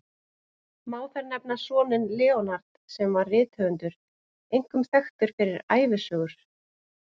Má þar nefna soninn Leonard, sem var rithöfundur, einkum þekktur fyrir ævisögur.